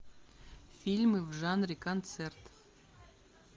фильмы в жанре концерт